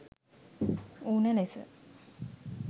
ඌණ ලෙස